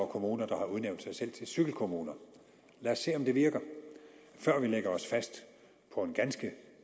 kommuner der har udnævnt sig selv til cykelkommuner lad os se om det virker før vi lægger os fast på en ganske